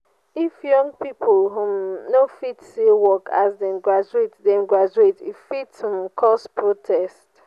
if young pipo um no fit see work as dem graduate dem graduate e fit um cause protest.